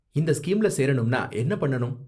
இந்த ஸ்கீம்ல சேரணும்னா என்ன பண்ணனும்?